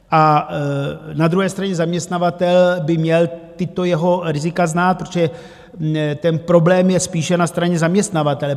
A na druhé straně zaměstnavatel by měl tato jeho rizika znát, protože ten problém je spíše na straně zaměstnavatele.